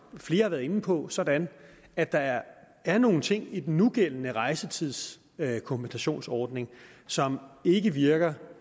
flere har været inde på sådan at der er er nogle ting i den nugældende rejsetidskompensationsordning som ikke virker